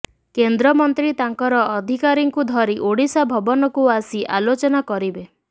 କେନ୍ଦ୍ରମନ୍ତ୍ରୀ ତାଙ୍କର ଅଧିକାରୀଙ୍କୁ ଧରି ଓଡ଼ିଶା ଭବନକୁ ଆସି ଆଲୋଚନା କରିବେ